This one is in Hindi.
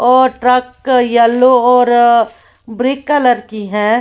और ट्रक येलो और ब्रिक कलर की है।